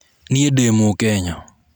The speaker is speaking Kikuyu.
Niĩ ndĩ mũkenya.